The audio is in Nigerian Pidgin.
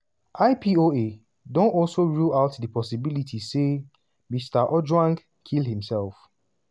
ipoa don also rule out di possibility say mr ojwang kill himself.